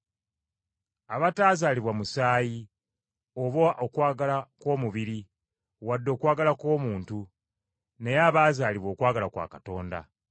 Abataazaalibwa musaayi, oba okwagala kw’omubiri, wadde okwagala kw’omuntu, naye abaazaalibwa okwagala kwa Katonda.